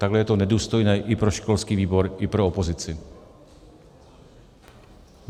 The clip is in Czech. Takhle je to nedůstojné i pro školský výbor i pro opozici.